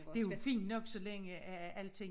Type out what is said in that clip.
Det jo fint nok så længe at alting